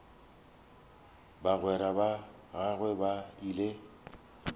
bagwera ba gagwe ba ile